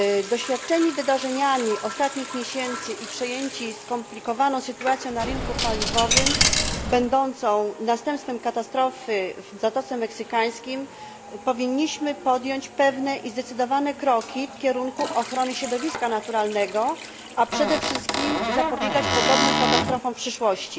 Doświadczeni wydarzeniami ostatnich miesięcy i przejęci skomplikowaną sytuacją na rynku paliwowym będącą następstwem katastrofy w Zatoce Meksykańskiej powinniśmy podjąć pewne i zdecydowane kroki w kierunku ochrony środowiska naturalnego, a przede wszystkim zapobiegać podobnym katastrofom w przyszłości.